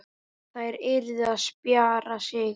Þær yrðu að spjara sig.